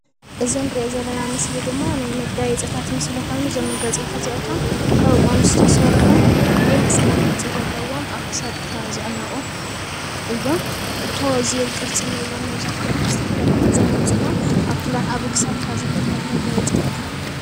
እዚ ንርኦ ዘለና ምስል ድማ ናይ መጋየፂታት ምስሊ ኾይኑ እዞም መጋየፅታት እዚኦቶም ካብ ኦም ዝተሰርሑ ናይ መስቀል ቅርፂ ዘለዎም ኣብ ክሳትካ ዝሕነቁ እዮም። ቶ ዝብል ቅርፂ እንሆዎም መብዛሕትኦም ዝተፈላለዩ ድዛይን ወፅጎም ኣብ ክሳትካ ዘንጥልጠሉ መጋየፅታት እዮም።